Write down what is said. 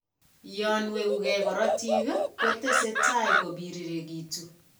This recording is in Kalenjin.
Yon weguu gee karatik, ko tese tai kobiriregitu